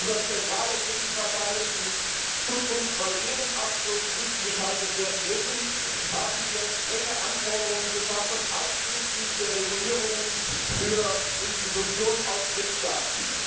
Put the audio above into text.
Über zentrale Gegenparteien, die in Zukunft bei jedem Abschluss zwischengeschaltet werden müssen, haben wir strenge Anforderungen geschaffen, einschließlich der Regulierungen für Institutionen aus Drittstaaten.